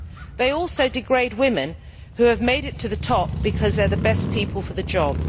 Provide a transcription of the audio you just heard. They also degrade women who have made it to the top because they are the best people for the job.